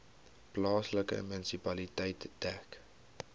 plaaslike munisipaliteit dek